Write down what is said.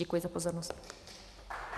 Děkuji za pozornost.